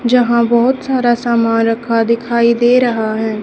यहां बहुत सारा सामान रखा दिखाई दे रहा है।